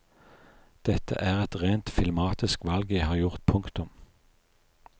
Dette er et rent filmatisk valg jeg har gjort. punktum